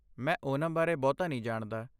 ਮੈਂ ਓਨਮ ਬਾਰੇ ਬਹੁਤਾ ਨਹੀਂ ਜਾਣਦਾ।